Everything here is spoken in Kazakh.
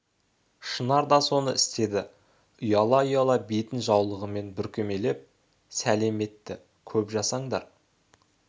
шынар да соны істеді ұяла-ұяла бетін жаулығымен бүркемелеп сәлем етті көп жасаңдар